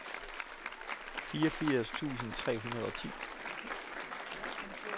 fireogfirs tusind tre hundrede og ti